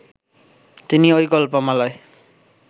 তিনি ঐ গল্পমালায়